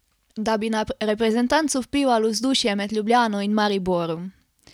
Da bi na reprezentanco vplivalo vzdušje med Ljubljano in Mariborom?